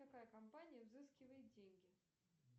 какая компания взыскивает деньги